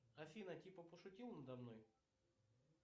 афина типа пошутила надо мной